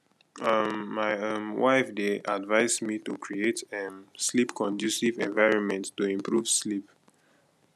um my um wife dey advise me to create um sleepconducive environment to improve sleep